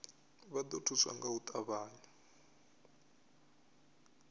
vha ḓo thuswa nga u ṱavhanya